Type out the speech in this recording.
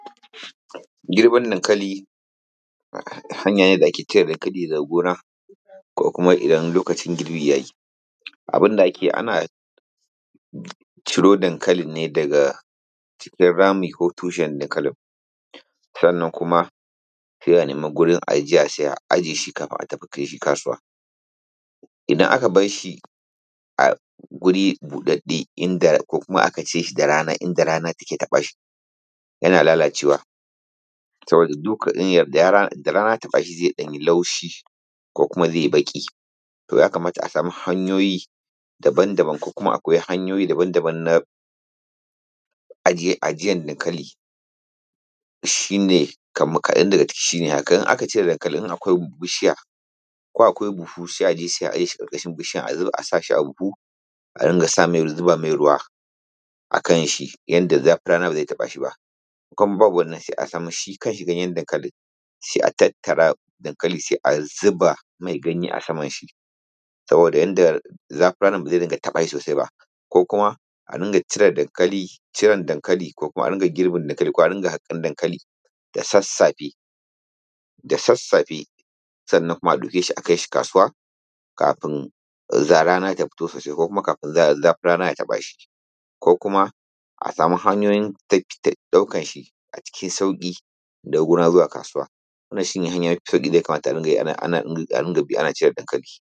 Girbin dankali hanya ne da ake cire dankali daga gona ko kuma idan lokacin girbi ya yi. Abun da ake yi, ana ciro dankalin ne daga cikin rami ko tushen dankalin, sannan kuma sai a nema gurin ajiya, a aje shi kafin a tafi kai shi kasuwa. Idan aka bar shi a guri buɗaɗɗe, inda ko kuma aka aje shi da rana, inda rana take taɓa shi, yana lalacewa. Idan rana ya taɓa shi, zai ɗan yi laushi kuma zai yi baƙi. To, ya kamata a samu hanyoyi daban-daban, ko kuma a koya hanyoyi daban-daban na ajiyan dankali. Shi ne kaman, kaɗan daga ciki, in aka cire dankalin, in akwai bishiya ko akwai buhu, sai a je sai a aje shi ƙarƙashin bishiyan. A sa shi a buhu, a rinƙa zuba mai ruwa a kanshi yanda rana ba zai taɓa shi ba. In kuma babu wannan, sai a samu shi, a sa mashi ganyen dankalin, sai a tattara dankalin, sai a zuba mai ganye a saman shi, saboda yanda zafin ranan ba zai taɓa shi sosai ba. Ko kuma a rinƙa ciren dankali, ko kuma a rinƙa girban dankali da sassafe. Sannan kuma a ɗauke shi, a kai shi kasuwa kafin rana ta fito sosai, ko kuma kafin rana ta taɓa shi; kuma a samu hanyoyin ɗaukan shi a cikin sauƙi. Wannan shi ne hanya mafi sauƙi da ake bi ana cire dankali.